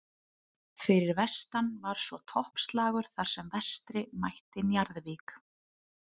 Fyrir vestan var svo toppslagur þar sem Vestri mætti Njarðvík.